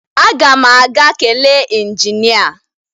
Aga m aga kelee injinịa